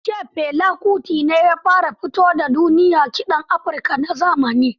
An ce Fela Kuti ne ya fara fito wa da duniya kiɗan Africa na zamani.